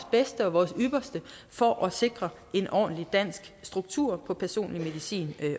bedste og vores ypperste for at sikre en ordentlig dansk struktur på personlig medicin